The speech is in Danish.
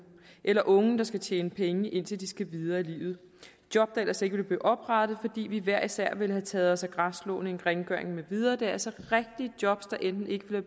eller unge der skal tjene penge indtil de skal videre i livet job der ellers ikke ville blive oprettet fordi vi hver især ville have taget os af græsslåning rengøring med videre det er altså rigtige job der enten ikke ville